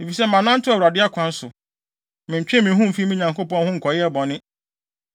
Efisɛ manantew Awurade akwan so; mentwee me ho mfii me Nyankopɔn ho nkɔyɛɛ bɔne.